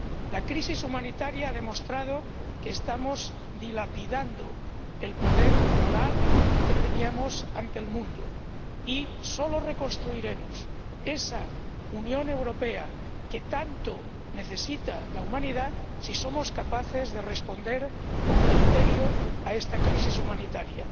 La crisis humanitaria ha demostrado que estamos dilapidando el poder moral que teníamos ante el mundo, y solo reconstruiremos esa Unión Europea que tanto necesita la humanidad si somos capaces de responder con criterio a esta crisis humanitaria.